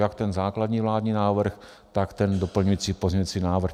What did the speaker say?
Jak ten základní vládní návrh, tak ten doplňující pozměňující návrh.